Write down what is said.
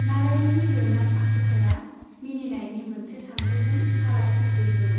नारायणनि लिरनाय आखुथाइआ मिनिनायनि मोनसे सानथौजों फारागथि गैयैमोन।